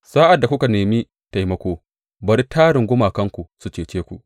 Sa’ad da kuka nemi taimako, bari tarin gumakanku su cece ku!